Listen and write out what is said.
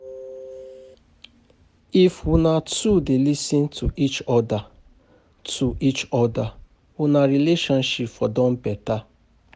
If una two dey lis ten to each other, to each other una relationship for don beta.